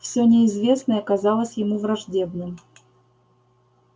всё неизвестное казалось ему враждебным